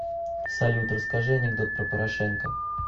салют расскажи анекдот про порошенко